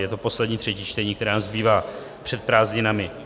Je to poslední třetí čtení, které nám zbývá před prázdninami.